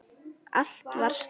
Allt var stórt.